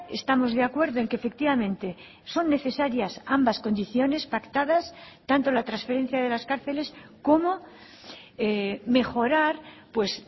estamos de acuerdo en que efectivamente son necesarias ambas condiciones pactadas tanto la transferencia de las cárceles como mejorar pues